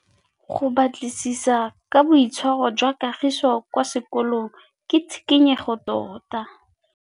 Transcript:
Go batlisisa ka boitshwaro jwa Kagiso kwa sekolong ke tshikinyêgô tota.